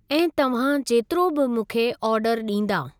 ऐं तव्हां जेतिरो बि मूंखे ऑर्डर ॾींदा।